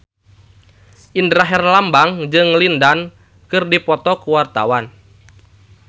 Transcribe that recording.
Indra Herlambang jeung Lin Dan keur dipoto ku wartawan